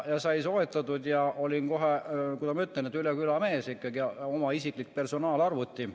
Siis sai see soetatud ja ma olin kohe, kuidas ma ütlen, üle küla mees, sest mul oli ikkagi oma isiklik personaalarvuti.